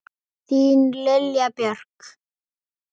Þín Lilja Björk.